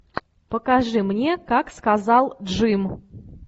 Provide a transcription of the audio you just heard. покажи мне как сказал джим